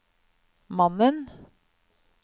mannen